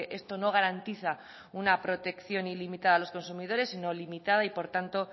esto no garantiza una protección ilimitada a los consumidores sino limitado y por tarto